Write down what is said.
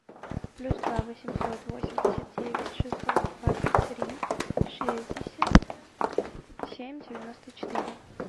плюс два восемьсот восемьдесят девять шестьсот двадцать три шестьдесят семь девяносто четыре